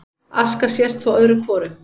Aska sést þó öðru hvoru